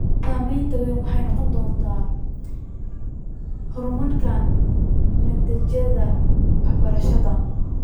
Saamaynta weyn waxay noqon doontaa horumarinta natiijooyinka waxbarashada.